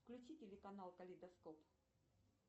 включи телеканал калейдоскоп